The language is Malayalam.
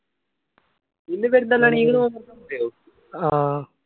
ആ